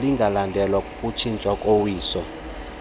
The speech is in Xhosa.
lingalandelwa kukukhutshwa kowiso